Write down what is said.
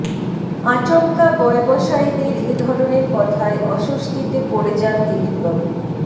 আচমকা ব্য়বসায়ীদের এ ধরনের কথায় অস্বস্তিতে পড়ে যান দিলীপবাবু